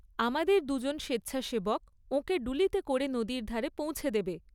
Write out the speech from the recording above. আমাদের দুজন স্বেচ্ছাসেবক ওঁকে ডুলিতে করে নদীর ধারে পৌঁছে দেবে।